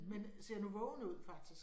Men ser nu vågen ud faktisk